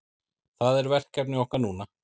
Það er verkefni okkar núna